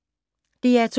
DR2